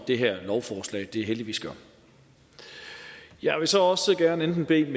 det her lovforslag heldigvis gør jeg vil så også gerne bede